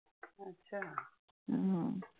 हम्म